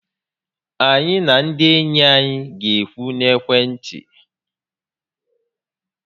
Anyị na ndị enyi anyị ga-ekwu n'ekwentị